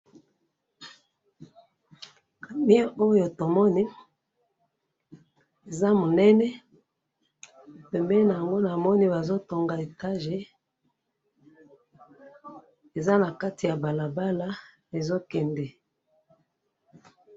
Camion oyo tomoni eza monene, pembeni nango namoni bazo tonga étage, eza na kati ya balabala ezo kende.